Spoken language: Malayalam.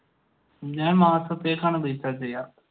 ഞാൻ മാസത്തേക്കാണ് റീചാർജ് ചെയ്യുക.